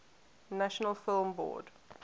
national film board